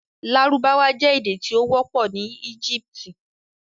Lárúbáwá jẹ̀ èdè tí o wọ̀pọ̀ ni Ẹ́gíptì